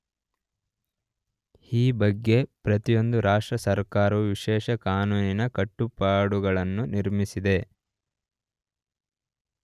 ಈ ಬಗ್ಗೆ ಪ್ರತಿಯೊಂದು ರಾಷ್ಟ್ರಸರ್ಕಾರವೂ ವಿಶೇಷ ಕಾನೂನಿನ ಕಟ್ಟುಪಾಡುಗಳನ್ನು ನಿರ್ಮಿಸಿದೆ.